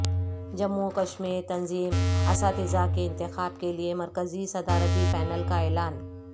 جموں وکشمیر تنظیم اساتذہ کے انتخاب کیلئے مرکزی صدارتی پینل کا اعلان